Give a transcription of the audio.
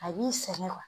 A b'i sɛgɛn